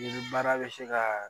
Ni baara bɛ se ka